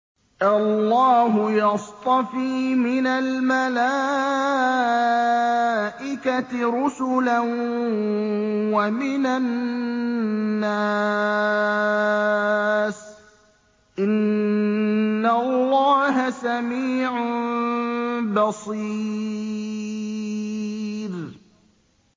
اللَّهُ يَصْطَفِي مِنَ الْمَلَائِكَةِ رُسُلًا وَمِنَ النَّاسِ ۚ إِنَّ اللَّهَ سَمِيعٌ بَصِيرٌ